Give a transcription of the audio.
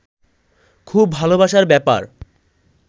খুব ভালোবাসার ব্যাপার